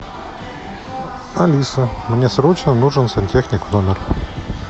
алиса мне срочно нужен сантехник в номер